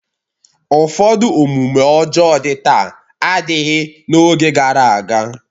Ụfọdụ omume ọjọọ dị taa adịghị n'oge gara aga.